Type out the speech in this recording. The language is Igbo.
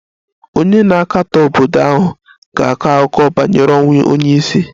Onye na-akatọ obodo ahụ ga-akọ akụkọ banyere ọnwụ onye isi